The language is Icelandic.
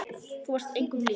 Þú varst engum lík.